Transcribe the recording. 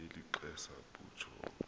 beli xesa butjho